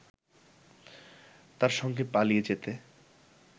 তার সঙ্গে পালিয়ে যেতে